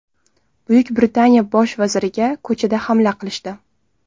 Buyuk Britaniya bosh vaziriga ko‘chada hamla qilishdi .